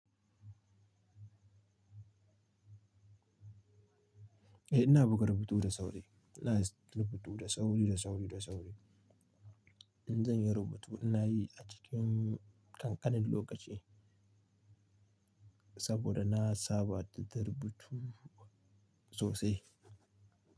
Eh ina buga rubutu da sauri, ina rubutu da sauri, da sauri, da sauri. In zan yi rubutu ina yi a cikin kankanin lokaci saboda na saba da rubutu sosai.